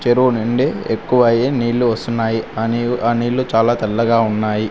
చెరువు నుండి ఎక్కువ అయ్యే నీళ్లు వస్తున్నాయి అని ఆ నీళ్లు చాలా తెల్లగా ఉన్నాయి.